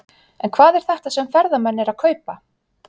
En hvað er þetta sem ferðamenn eru að kaupa?